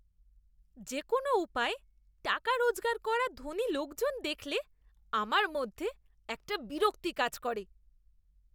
যে কোনও উপায়ে টাকা রোজগার করা ধনী লোকজন দেখলে আমার মধ্যে একটা বিরক্তি কাজ করে।